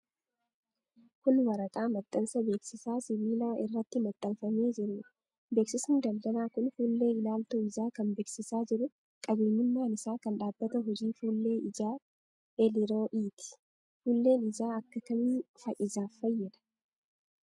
Kun, waraqaa maxxansa beeksisaa sibiila irratti maxxanfamee jiruu dha. Beeksisni daldalaa kun, fuullee ilaaltuu ijaa kan bebeeksisaa jiru, qabeenyummaan isaa kan dhaabbata hojii fuullee ijaa eliroo'iiti, Fuulleen ijaa ,akka kamiin ijaaf fayyada?